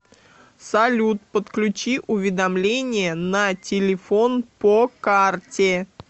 салют подключи уведомления на телефон по карте